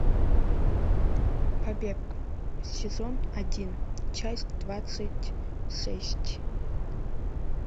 побег сезон один часть двадцать шесть